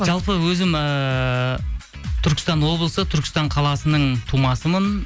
жалпы өзім ыыы түркістан облысы түркістан қаласының тумасымын